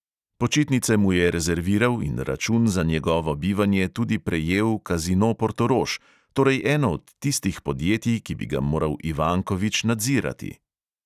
Počitnice mu je rezerviral in račun za njegovo bivanje tudi prejel kazino portorož, torej eno od tistih podjetij, ki bi ga moral ivankovič nadzirati.